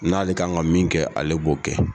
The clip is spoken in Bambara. N'ale ka kan ka min kɛ ale b'o kɛ.